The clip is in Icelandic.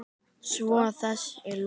Svo er þessu lokið?